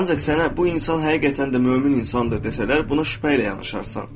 Ancaq sənə bu insan həqiqətən də mömin insandır desələr, buna şübhə ilə yanaşarsan.